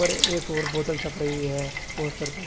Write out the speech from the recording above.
अरे एक और बोतल छप रही है पोस्टर पे--